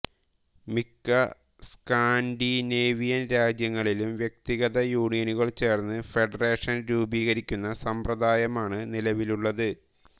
മിക്ക സ്കാൻഡിനേവിയൻ രാജ്യങ്ങളിലും വ്യക്തിഗത യൂണിയനുകൾ ചേർന്ന് ഫെഡറേഷൻ രൂപീകരിക്കുന്ന സമ്പ്രദായമാണ് നിലവിലുള്ളത്